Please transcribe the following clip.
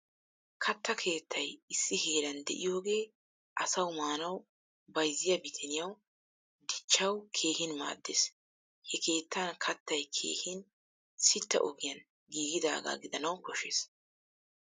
Katta keettay issi heeran de'iyoge asawu maanawu, bayzziya biittaniyawu dichchawu keehin maaddees. He keettan kattay keehin sitta ogiyan giigidaga gidanawu koshshees.